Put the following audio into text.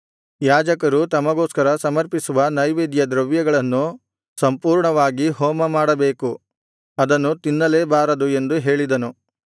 ಯಾಜಕರು ತಮಗೋಸ್ಕರ ಸಮರ್ಪಿಸುವ ನೈವೇದ್ಯದ್ರವ್ಯಗಳನ್ನು ಸಂಪೂರ್ಣವಾಗಿ ಹೋಮಮಾಡಬೇಕು ಅದನ್ನು ತಿನ್ನಲೇಬಾರದು ಎಂದು ಹೇಳಿದನು